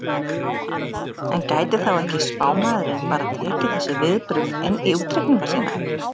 En gæti þá ekki spámaðurinn bara tekið þessi viðbrögð inn í útreikninga sína?